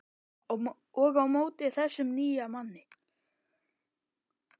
Og á móti þessum nýja manni.